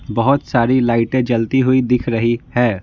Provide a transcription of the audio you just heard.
बहुत सारी लाइटें जलती हुई दिख रही है।